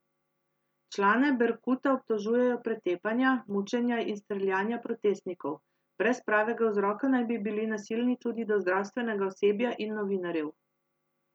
Člane Berkuta obtožujejo pretepanja, mučenja in streljanja protestnikov, brez pravega vzroka naj bi bili nasilni tudi do zdravstvenega osebja in novinarjev.